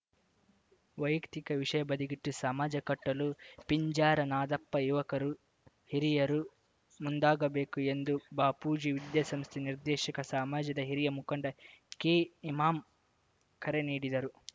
ವೈಯಕ್ತಿಕ ವಿಷಯ ಬದಿಗಿಟ್ಟು ಸಮಾಜ ಕಟ್ಟಲು ಪಿಂಜಾರ ನಾದಪ್ಪ ಯುವಕರು ಹಿರಿಯರು ಮುಂದಾಗಬೇಕು ಎಂದು ಬಾಪೂಜಿ ವಿದ್ಯಾಸಂಸ್ಥೆ ನಿರ್ದೇಶಕ ಸಮಾಜದ ಹಿರಿಯ ಮುಖಂಡ ಕೆಇಮಾಂ ಕರೆ ನೀಡಿದರು